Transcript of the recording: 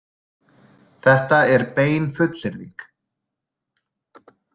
Þetta er bein fullyrðing.